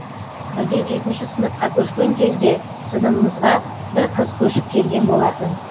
бірде жетінші сыныпқа көшкен кезде сыныбымызға бір қыз көшіп келген болатын